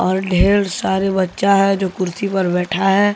और ढेर सारे बच्चा है जो कुर्सी पर बैठा है।